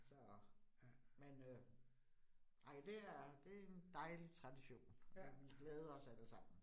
Så, men øh ej det er det en dejlig tradition, og vi glæder os allesammen